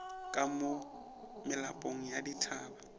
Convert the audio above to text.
ka mo melapong ya dithaba